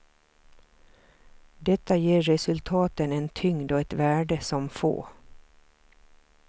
Detta ger resultaten en tyngd och ett värde som få.